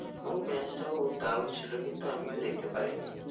ও match টা ও দারুন ছিল কিন্তু আমিও দেখতে পারিনি।